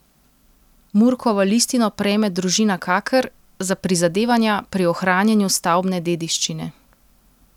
Murkovo listino prejme družina Kaker za prizadevanja pri ohranjanju stavbne dediščine.